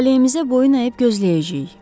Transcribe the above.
Talehimizə boyun əyib gözləyəcəyik.